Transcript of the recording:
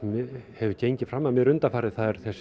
hefur gengið fram af mér undanfarið það er þessi